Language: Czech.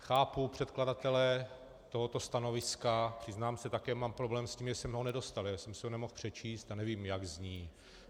Chápu předkladatele tohoto stanoviska, přiznám se, také mám problém s tím, že jsme ho nedostali, já jsem si ho nemohl přečíst a nevím, jak zní.